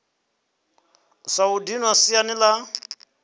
sa u dinwa siani la